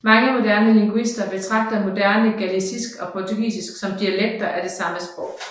Mange moderne lingvister betragter moderne galicisk og portugisisk som dialekter af det samme sprog